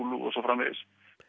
og svo framvegis